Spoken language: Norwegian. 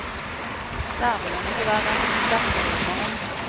Der vil hun ikke være, så derfor rømmer hun.